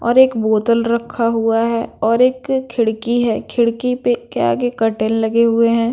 और एक बोतल रखा हुआ हैं और एक खिड़की हैं खिड़की पे के आगे कर्टेन लगे हुए हैं।